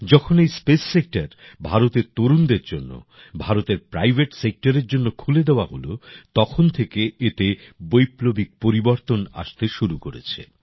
যখন এই space sector ভারতের তরুণদের জন্য ভারতের প্রাইভেট সেক্টরের জন্য খুলে দেওয়া হল তখন থেকে এতে বৈপ্লবিক পরিবর্তন আসতে শুরু করেছে